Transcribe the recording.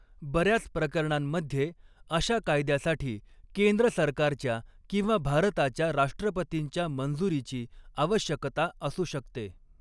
बर्याच प्रकरणांमध्ये, अशा कायद्यासाठी केंद्र सरकारच्या किंवा भारताच्या राष्ट्रपतींच्या मंजुरीची आवश्यकता असू शकते.